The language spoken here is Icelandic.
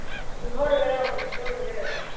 Hún horfir á hana stórum augum.